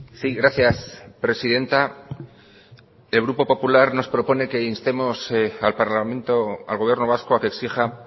sí gracias presidenta el grupo popular nos propone que instemos al parlamento al gobierno vasco a que exija